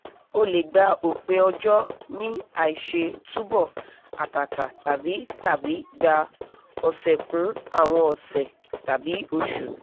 ó lè gba òpin ọ̀jọ́ ní àìṣe túbọ̀ àtàtà tàbí tàbí gbà ọ̀sẹ̀kùn àwọn ọ̀sẹ̀ tàbí oṣù